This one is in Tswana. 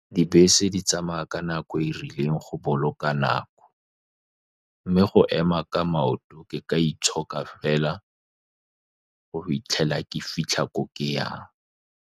Dibese di tsamaya ka nako e e rileng go boloka nako, mme go ema ka maoto ke ka itshoka fela, go 'itlhela ke fitlha ko ke yang.